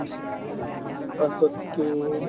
পাছততো